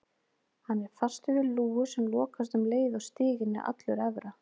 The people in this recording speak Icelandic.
Hann er fastur við lúgu sem lokast um leið og stiginn er allur efra.